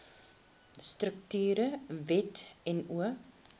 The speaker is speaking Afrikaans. strukture wet no